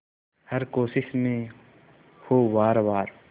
हर कोशिश में हो वार वार